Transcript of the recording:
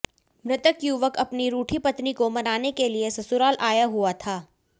मृतक युवक अपनी रूठी पत्नी को मनाने के लिए ससुराल आया हुआ था